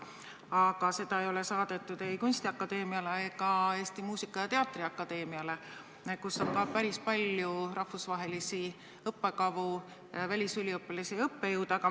Aga seda pole saadetud ei Eesti Kunstiakadeemiale ega Eesti Muusika- ja Teatriakadeemiale, kus on samuti päris palju rahvusvahelisi õppekavu ning välisüliõpilasi ja -õppejõude.